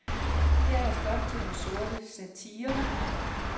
Her er stof til den sorte satire.